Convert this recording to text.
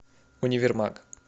универмаг